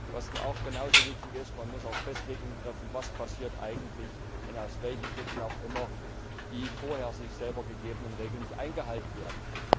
Was genau so wichtig ist Man muss auch Festlegungen treffen, was eigentlich passiert, wenn aus welchen Gründen auch immer die vorher sich selber gegebenen Regeln nicht eingehalten werden.